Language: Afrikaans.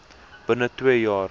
binne twee jaar